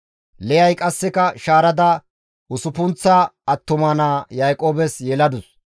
Liyay qasseka shaarada usuppunththa attuma naa Yaaqoobes yeladus.